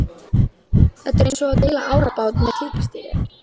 Þetta er eins og að deila árabát með tígrisdýri.